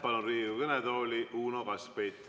Palun Riigikogu kõnetooli Uno Kaskpeiti.